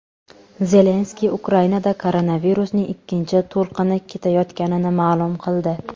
Zelenskiy Ukrainada koronavirusning ikkinchi to‘lqini ketayotganini ma’lum qildi.